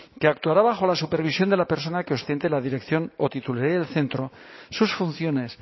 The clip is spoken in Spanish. que actuará bajo la supervisión de la persona que ostente la dirección o titularidad del centro sus funciones